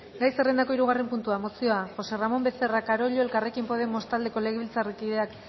gai zerrendako hirugarren puntua mozioa josé ramón becerra carollo elkarrekin podemos taldeko legebiltzarkideak